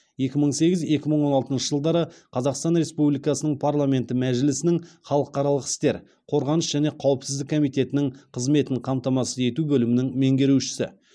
екі мың сегіз екі мың он алтыншы жылдары қазақстан республикасының парламенті мәжілісінің халықаралық істер қорғаныс және қауіпсіздік комитетінің қызметін қамтамасыз ету бөлімінің меңерушісі